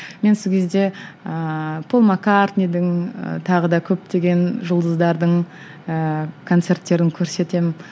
мен сол кезде ыыы пол маккартнидің ы тағы да көптеген жұлдыздардың ыыы концерттерін көрсетемін